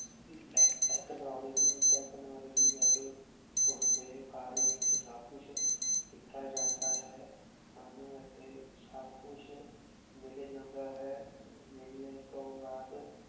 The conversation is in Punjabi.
ਲੇਕ ਤੇਚ੍ਨੋਲੋਗ੍ਯ ਤੇਚ੍ਨੋਲੋਗ੍ਯ ਊਟੀ ਓਸਦੀ ਘਰ ਵਿਚ ਸਬ ਕੁਛ ਦਿਤਾ ਜਾਂਦਾ ਹੈ ਸਾਨੂ ਰਥੀ ਸਬ ਕੁਛ ਮਿਲ ਜਾਂਦਾ ਹੈ ਮਿਲਨੇ ਤੋਂ ਬਾਅਦ